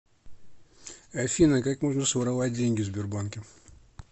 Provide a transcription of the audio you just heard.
афина как можно своровать деньги в сбербанке